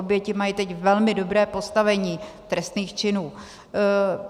Oběti mají teď velmi dobré postavení trestných činů.